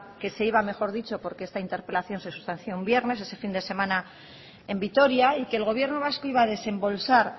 que se iba mejor dicho porque esta interpelación se sustanció un viernes ese fin de semana en vitoria y que el gobierno vasco iba a desembolsar